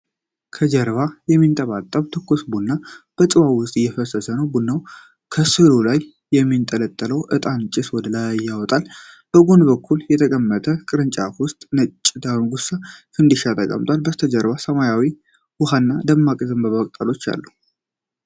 ከጀበና የሚንጠባጠብ ትኩስ ቡና በጽዋ ውስጥ እየፈሰሰ ነው። ቡናውና ከሰሉ ላይ የሚንጠለጠለው ዕጣን ጭስ ወደ ላይ ይወጣል። በጎን በኩል በተቀመጠ ቅርጫት ውስጥ ነጭ ዳጉሳ (ፈንዲሻ) ተቀምጧል። ከበስተጀርባ ሰማያዊ ውሃና የደረቁ የዘንባባ ቅጠሎች አሉ።